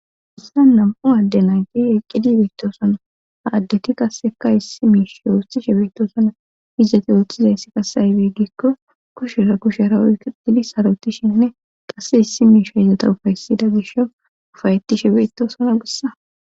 Hissan nam7u adde nayti eqqidi beettosano ha addati qasseka issi miisha woostishe beettosana izzati ooththizayssi qasse ayibe gikko kushera kushera oyiketidi sarotishinne qasse issi miishi izota ufaysida gisho ufayettishe beettosana gussa